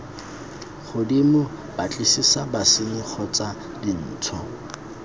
godimo batlisisa bosenyi kgotsa dintsho